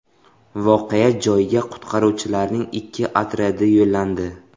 Voqea joyiga qutqaruvchilarning ikki otryadi yo‘llandi.